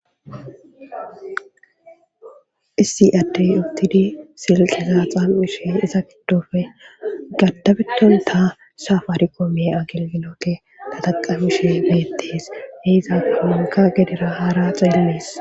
Issi addey uttidi silkeza xam'ishe iza giddofe gaddabetonta safarikome agelgilote tataqamishe beettes he iza qommonka gedera haara xeelles.